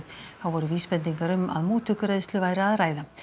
þá voru vísbendingar um mútugreiðslu væri að ræða